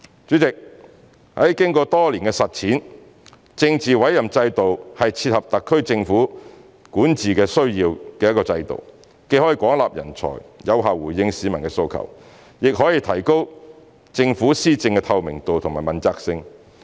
主席，經過多年的實踐，政治委任制度是一個切合特區管治需要的制度，既可廣納人才、有效回應市民的訴求，亦可提高政府施政的透明度和問責性。